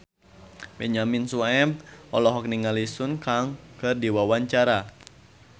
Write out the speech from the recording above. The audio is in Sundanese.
Benyamin Sueb olohok ningali Sun Kang keur diwawancara